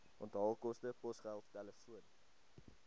onthaalkoste posgeld telefoon